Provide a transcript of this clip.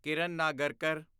Kiran Nagarkar